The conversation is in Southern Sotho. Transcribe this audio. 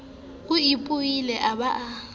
o ipolaile a ba a